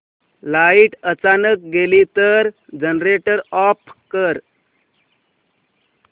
light अचानक गेली तर जनरेटर ऑफ कर